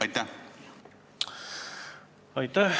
Aitäh!